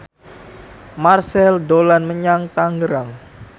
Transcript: Marchell dolan menyang Tangerang